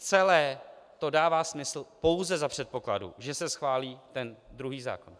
Celé to dává smysl pouze za předpokladu, že se schválí ten druhý zákon.